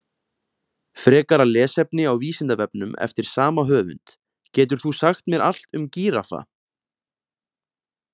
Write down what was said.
Frekara lesefni á Vísindavefnum eftir sama höfund: Getur þú sagt mér allt um gíraffa?